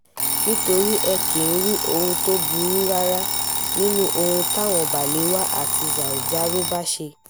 nítorí ẹ kì í rí ohun tó burú rárá nínú ohun táwọn balewa tàbí sanzaro bá ṣe